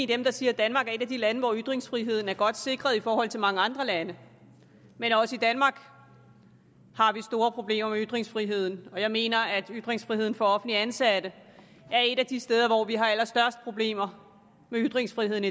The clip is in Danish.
dem der siger at danmark er et af de lande hvor ytringsfriheden er godt sikret i forhold til mange andre lande men også i danmark har vi store problemer med ytringsfriheden og jeg mener at ytringsfriheden for offentligt ansatte er et af de steder hvor vi har allerstørst problemer med ytringsfriheden